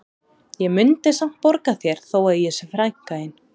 Ég mundi samt borga þér þó að ég sé frænka þín